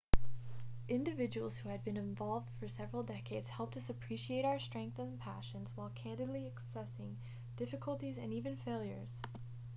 individuals who had been involved for several decades helped us appreciate our strengths and passions while candidly assessing difficulties and even failures